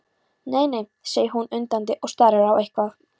Nei, nei, segir hann undandi og starir á eitthvað.